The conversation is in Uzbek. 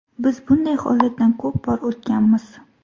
Biz bunday holatdan ko‘p bor o‘tganmiz.